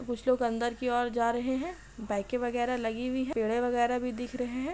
कुछ लोग अंदर की ओर जा रहे हैं। बाइके वगेरा लगे हुई हैं। पेड़े वगेरा भी दिख रहे हैं।